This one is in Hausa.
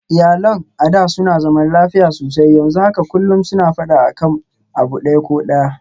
Iyalinsu a da suna zaman lafiya sosai, yanzu haka kullum suna faɗa akan abu ɗaya ko ɗaya